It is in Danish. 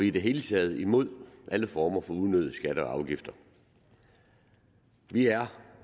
i det hele taget imod alle former for unødige skatter og afgifter vi er